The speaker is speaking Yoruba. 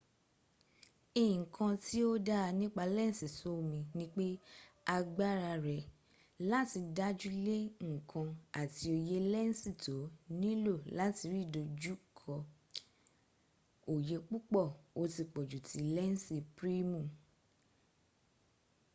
nkan tí ò dáa nipa lensì soomì nipé agbára rẹ láti dájúle nkan àti oye lensì tó nilò láti rí ìdójúké oyé púpọ̀ o ti pọ̀jù tí lensì primu